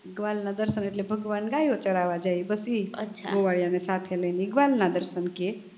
ગ્વાલ ના દર્શન એટલે ભગવાન ગયો ચરવા જાય બસ ઈ ગોવાળિયા ની સાથે લઈને ઈ ગ્વાલ ના દર્શન કે